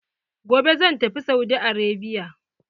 Gobe zan tafi Saudi Arabia.